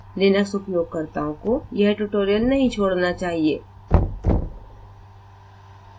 Linux उपयोगकर्ताओं को यह tutorial नहीं छोड़ना चाहिए